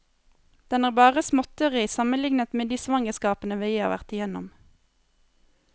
Den er bare småtteri sammenlignet med de svangerskapene vi har vært igjennom.